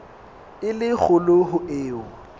e le kgolo ho eo